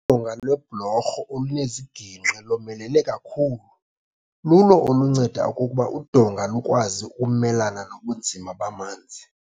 Udonga lwebhlorho oluneziginqki lomelele kakhulu lulo olunceda okokuba udonga lukwazi ukumelana nobunzima bamanzi.